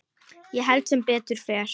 Ég held sem betur fer.